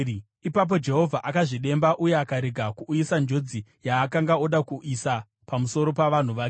Ipapo Jehovha akazvidemba uye akarega kuuyisa njodzi yaakanga oda kuisa pamusoro pavanhu vake.